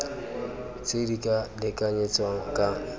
tse di ka lekanyetswang ka